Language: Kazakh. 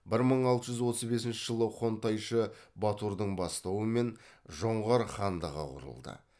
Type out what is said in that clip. бір мың алты жүз отыз бесінші жылы хонтайшы батурдың бастауымен жоңғар хандығы құрылды